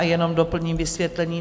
A jenom doplním vysvětlení.